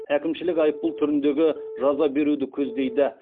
әкімшілік айыппұл түріндегі жаза беруді көздейді